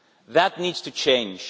That needs to change.